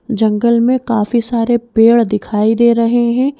जंगल में काफी सारे पेड़ दिखाई दे रहे हैं।